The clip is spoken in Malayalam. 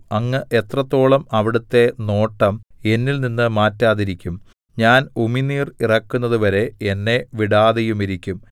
അങ്ങ് എത്രത്തോളം അവിടുത്തെ നോട്ടം എന്നിൽനിന്ന് മാറ്റാതിരിക്കും ഞാൻ ഉമിനീർ ഇറക്കുന്നതുവരെ എന്നെ വിടാതെയുമിരിക്കും